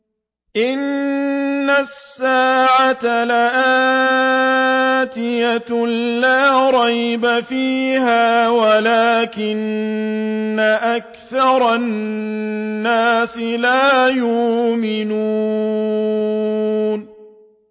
إِنَّ السَّاعَةَ لَآتِيَةٌ لَّا رَيْبَ فِيهَا وَلَٰكِنَّ أَكْثَرَ النَّاسِ لَا يُؤْمِنُونَ